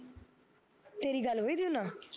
ਤੇਰੀ ਗੱਲ ਹੋਈ ਥੀ ਓਹਨਾ